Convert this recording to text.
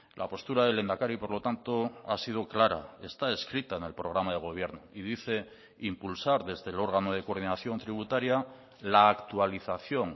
la postura del lehendakari por lo tanto ha sido clara está escrita en el programa de gobierno y dice impulsar desde el órgano de coordinación tributaria la actualización